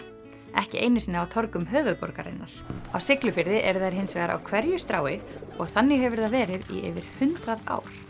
ekki einu sinni á torgum höfuðborgarinnar á Siglufirði eru þær hins vegar á hverju strái og þannig hefur það verið í yfir hundrað ár